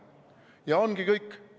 Ja ongi kõik.